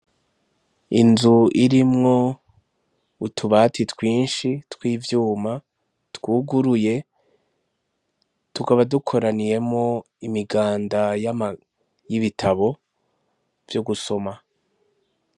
Inzu irimwo utubati twinshi tw'ivyuma twuguruye, tukaba dukoraniyemwo imiganda y'ibitabo vyo gusoma.